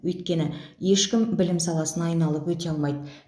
өйткені ешкім білім саласын айналып өте алмайды